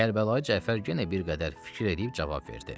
Kərbəlayı Cəfər yenə bir qədər fikir eləyib cavab verdi.